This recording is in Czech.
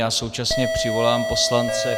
Já současně přivolám poslance.